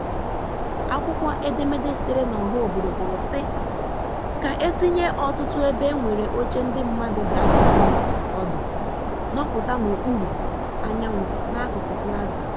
Akwụkwọ edemede sitere na ọha obodo kwuru si ka e tinye ọtụtụ ebe e nwere oche ndị mmandu g'anọdinwu ọdụ nọputa n'okpuru anyanwu n'akụkụ Plaza.